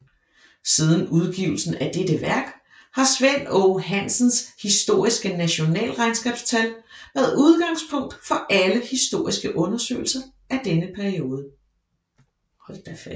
Siden udgivelsen af dette værk har Svend Aage Hansens historiske nationalregnskabstal været udgangspunktet for alle historiske undersøgelser af denne periode